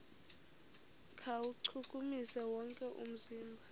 kuwuchukumisa wonke umzimba